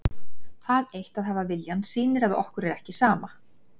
Það eitt að hafa viljann sýnir að okkur er ekki sama.